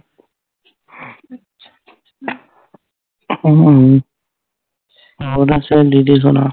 ਮੈਂ ਤਾਂ ਸਹੇਲੀ ਦੇ ਸੋਣਾ